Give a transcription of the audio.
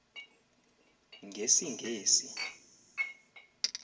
ngesingesi